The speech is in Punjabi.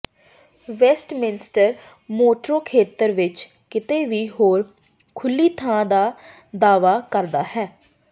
ਵੈਸਟਮਿੰਸਟਰ ਮੈਟਰੋ ਖੇਤਰ ਵਿੱਚ ਕਿਤੇ ਵੀ ਹੋਰ ਖੁੱਲ੍ਹੀ ਥਾਂ ਦਾ ਦਾਅਵਾ ਕਰਦਾ ਹੈ